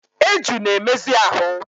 Eju na-emezi ahụ.